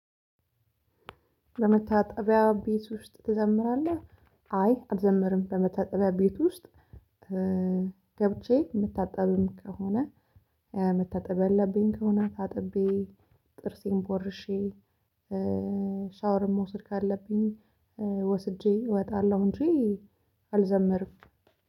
በመታጠቢያ ቤት ውስጥ ትዘምራለህ? አይ አልዘምርም ለመታጠቢያ ቤት ውስጥ ገብቼ የምታጠብም ከሆነ መታጠብ ያለብኝ ከሆነ ታጥቤ ጥርሴን ቦርሼ ሻወርም መውሰድ ካለብኝ ወስጄ እወጣለሁ እንጂ አልዘምርም።